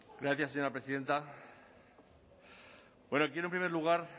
gracias señora presidenta quiero en primer lugar